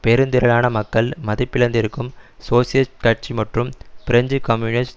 பெருந்திரளான மக்கள் மதிப்பிழந்திருக்கும் சோசியலிஸ்ட் கட்சி மற்றும் பிரெஞ்சு கம்யூனிஸ்ட்